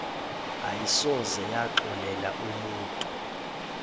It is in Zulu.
ayisoze yaxolela umutu